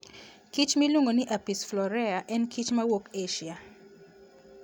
kich miluongo ni Apis florea en kich mawuok Asia.